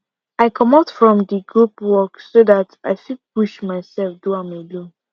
i comot from di group work so dat i fit push myself do am alone